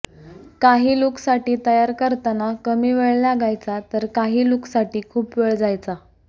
काही लूकसाठी तयार करताना कमी वेळ लागायचा तर काही लूकसाठी खूप वेळ जायचा